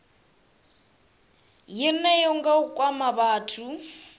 yeneyo nga u kwama vhathu